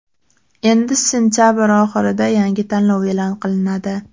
Endi sentabr oxirida yangi tanlov e’lon qilinadi.